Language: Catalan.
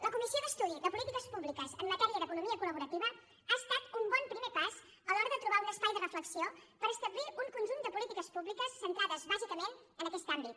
la comissió d’estudi de polítiques públiques en matèria d’economia col·laborativa ha estat un bon primer pas a l’hora de trobar un espai de reflexió per establir un conjunt de polítiques públiques centrades bàsicament en aquest àmbit